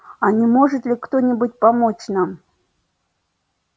а не может ли кто-нибудь помочь нам